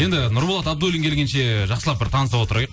енді нұрболат абдуллин келгенше жақсылап бір таныса отырайық